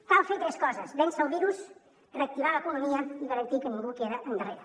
cal fer tres coses vèncer el virus reactivar l’economia i garantir que ningú queda endarrere